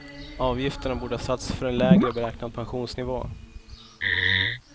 Avgifterna borde ha satts för en lägre beräknad pensionsnivå.